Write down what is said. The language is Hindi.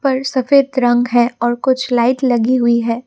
और सफेद रंग है और कुछ लाइट लगी हुई है।